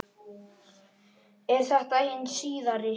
Er þetta hin síðari